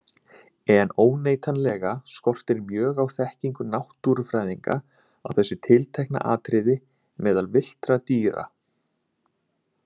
En óneitanlega skortir mjög á þekkingu náttúrufræðinga á þessu tiltekna atriði meðal villtra dýra.